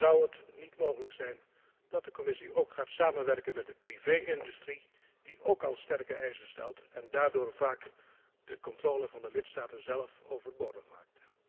Zou het niet mogelijk zijn dat de Commissie ook gaat samenwerken met de particuliere sector, die ook al sterke eisen stelt en daardoor vaak de controle van de lidstaten overbodig maakt?